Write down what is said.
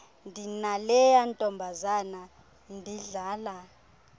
ndinaleya intombazana ndidlala